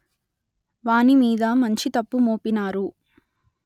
వానిమీద మంచి తప్పు మోపినారు